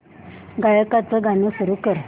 गायकाचे गाणे सुरू कर